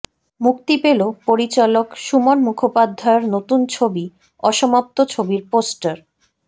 মুক্তি পেল পরিচালক সুমন মুখোপাধ্যায়ের নতুন ছবি অসমাপ্ত ছবির পোস্টার